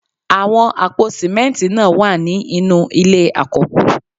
Àwọn àpò símẹ́ntì náà wà ní inú ilé àkọ́kù